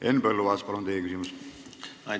Henn Põlluaas, palun teie küsimus!